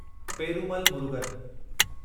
Perumal Murugan